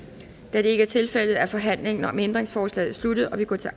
da det ikke er tilfældet er forhandlingen om ændringsforslaget sluttet og vi går til